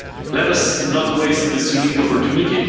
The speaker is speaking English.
Let us not waste this unique opportunity.